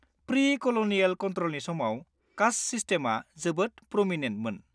Pre-colonial कनट्र'लनि समाव, caste सिस्टेमआ जोबोद प्र'मिनेन्टमोन।